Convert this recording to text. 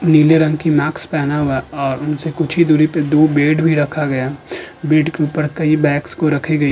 नीले रंग की माक्स पहना हुआ औ उनसे कुछी दूरी पे दो बेड भी रखा गया। बेड के ऊपर की बैग्स को रखे गए।